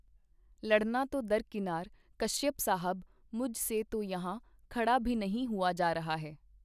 ਲੜਨਾ ਤੋ ਦਰਕੀਨਾਰ, ਕਸ਼ਯਪ ਸਾਹਬ, ਮੁਝ ਸੇ ਤੋ ਯਹਾਂ ਖੜਾ ਭੀ ਨਹੀਂ ਹੂਆ ਜਾ ਰਹਾ ਹੈ.